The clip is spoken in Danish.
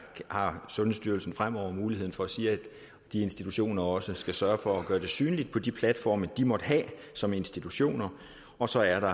har sundhedsstyrelsen fremover muligheden for at sige at de institutioner også skal sørge for at gøre det synligt på de platforme de måtte have som institutioner og så er der